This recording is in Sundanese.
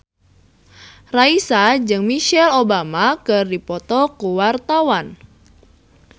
Raisa jeung Michelle Obama keur dipoto ku wartawan